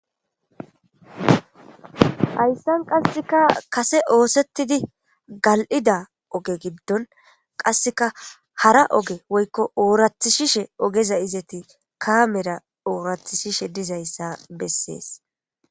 Hayssan qasseka kase oosettidi gal7ida oge giddon qasseka hara oge woykko oorathishishe ogeza izeti kaamera oorathishishe dizayssa bessees.